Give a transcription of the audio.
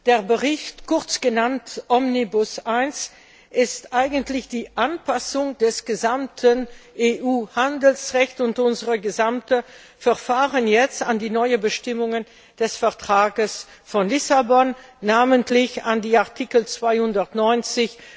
Der Bericht, kurz Omnibus I genannt, ist eigentlich die Anpassung des gesamten EU Handelsrechts und unserer gesamten Verfahren an die neuen Bestimmungen des Vertrages von Lissabon, namentlich an die Artikel 290